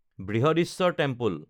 বৃহদীশ্বৰৰ temple